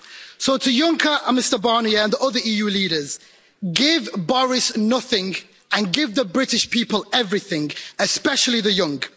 So to Juncker and Mr Barnier and the other EU leaders give Boris nothing and give the British people everything, especially the young.